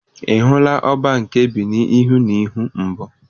Ị hụla Ọbá nke Benịn ihu na ihu mbụ?